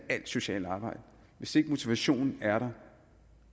alt socialt arbejde hvis ikke motivationen er der